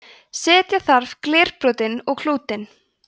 setja þarf glerbrotin og klútinn